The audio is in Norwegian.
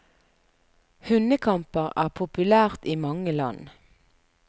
Hundekamper er populært i mange land.